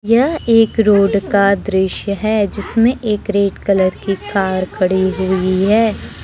यह एक रोड का दृश्य है जिसमें एक रेड कलर की कार खड़ी हुई है।